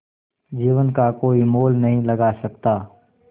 जीवन का कोई मोल नहीं लगा सकता